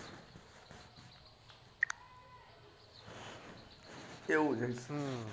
એવું છે